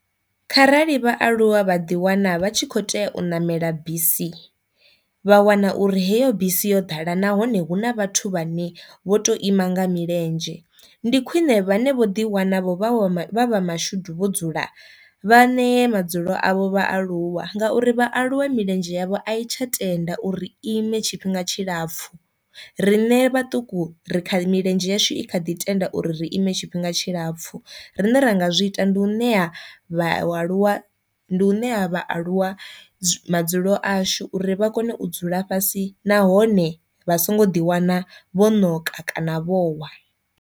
Kharali vhaaluwa vha ḓi wana vha tshi kho tea u ṋamela bisi vha wana uri heyo bisi yo ḓala nahone hu na vhathu vhane vho to ima nga milenzhe ndi khwine vhane vho ḓi wana vho vha vha mashudu vho dzula vha nee madzulo avho vhaaluwa, ngauri vhaaluwa milenzhe yavho a i tsha tenda uri i ime tshifhinga tshilapfu, riṋe vhaṱuku ri kha milenzhe yashu i kha ḓi tenda uri ri ime tshifhinga tshilapfhu. Rine ra nga zwi ita ndi u ṋea vhaaluwa ndi u ṋea vhaaluwa madzulo ashu uri vha kone u dzula fhasi nahone vha songo ḓi wana vho ṋoka kana vho wa.